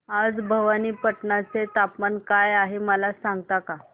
आज भवानीपटना चे तापमान काय आहे मला सांगता का